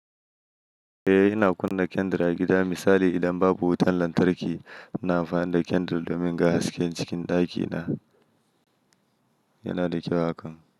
Eh, ina kunna candle a gida. Misali, idan babu wutar lantarki, ina amfani da candle domin ga haske cikin ɗakina. Yana da kyau hakan.